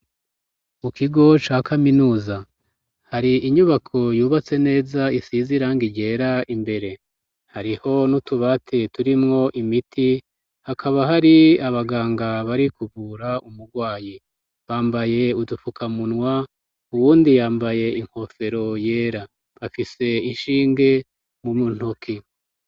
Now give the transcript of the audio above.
Mu kigo ca kaminuza hari inyubako yubatse neza isize irangi ryera, imbere hariho n'utubati turimwo imiti, hakaba hari abaganga bari kuvura umurwayi, bambaye udupfukamunwa, uwundi yambaye inkofero yera, bafise inshinge mu ntoki.